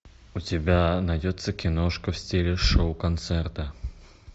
у тебя найдется киношка в стиле шоу концерта